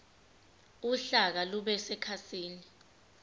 uhlaka lube sekhasini